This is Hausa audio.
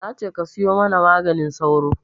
Nace ka siyo mana maganin sauro